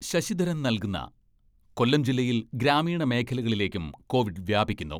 ശശിധരൻ നൽകുന്ന കൊല്ലം ജില്ലയിൽ ഗ്രാമീണ മേഖലകളിലേക്കും കോവിഡ് വ്യാപിക്കുന്നു.